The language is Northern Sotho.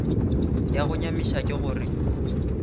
ya go nyamiša ke gore